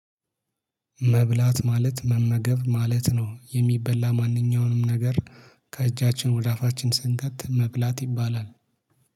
መብላት ማለት መመገብ ማለት ነው የሚበላ ማንኛውንም ነገር ከእጃችን ወደ አፋችን ስንከት መብላት ይባላል